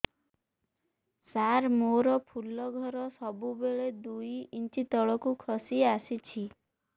ସାର ମୋର ଫୁଲ ଘର ସବୁ ବେଳେ ଦୁଇ ଇଞ୍ଚ ତଳକୁ ଖସି ଆସିଛି